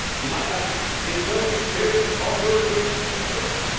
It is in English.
He might have added that it was his first experience of European integration.